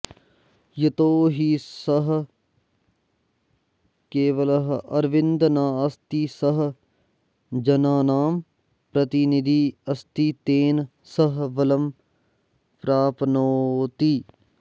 यतो हि सः केवलः अरविन्दः नास्ति सः जनानां प्रतिनिधी अस्ति तेन सः बलं प्राप्नोति